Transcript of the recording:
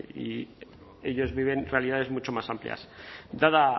ellos viven realidades mucho más amplias dada